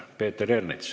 Peeter Ernits.